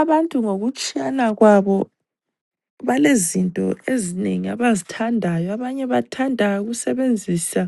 Abantu ngokutshiyana kwabo balezinto ezinengi abazithandayo abanye bathanda ukusebenzisa